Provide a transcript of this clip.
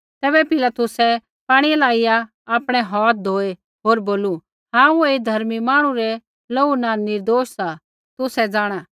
तैबै पिलातुसै पाणियै लाइया आपणै हौथ धोऐ होर बोलू हांऊँ ऐई धर्मी मांहणु रै लोहू न निर्दोष सा तुसै जाँणा